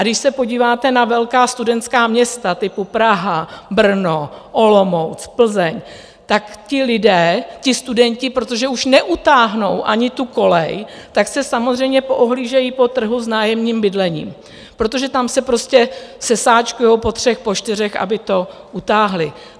A když se podíváte na velká studentská města typu Praha, Brno, Olomouc, Plzeň, tak ti lidé, ti studenti, protože už neutáhnou ani tu kolej, tak se samozřejmě poohlížejí po trhu s nájemním bydlením, protože tam se prostě sesáčkují po třech, po čtyřech, aby to utáhli.